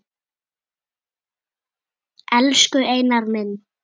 Elsku Einar minn.